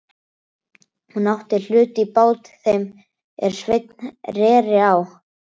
Hún átti hlut í bát þeim er Sveinn reri á.